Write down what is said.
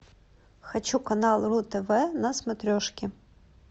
хочу канал ру тв на смотрешке